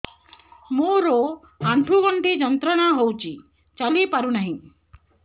ମୋରୋ ଆଣ୍ଠୁଗଣ୍ଠି ଯନ୍ତ୍ରଣା ହଉଚି ଚାଲିପାରୁନାହିଁ